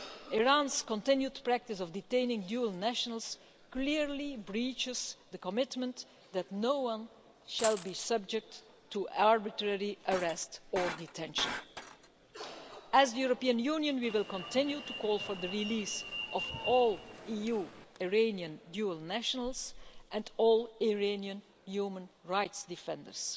Iran's continued practice of detaining dual nationals clearly breaches the commitment that no one shall be subject to arbitrary arrest or detention. As the European Union, we will continue to call for the release of all EU Iranian dual nationals and all Iranian human rights defenders.